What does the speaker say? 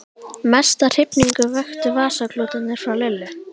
Mesta hrifningu vöktu vasaklútarnir frá Lillu.